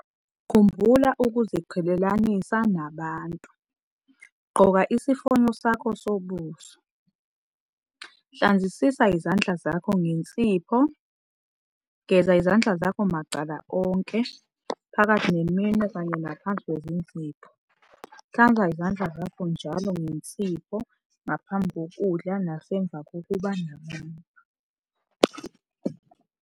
Khumbula ukuziqhelelanisa nabantu. Gqoka isifonyo sakho sobuso. Hlanzisisa izandla zakho ngensipho. Geza izandla zakho macala onke, phakathi neminwe kanye naphansi kwezinzipho. Hlanza izandla zakho njalo ngensipho ngaphambi kokudla nasemva kokuba nabantu.